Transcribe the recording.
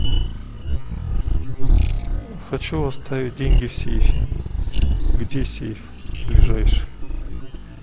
хочу оставить деньги в сейфе где сейф ближайший